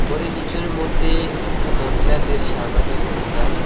ওরে নীচের মধ্যে একটু মহিলাদের সামানের দোকান।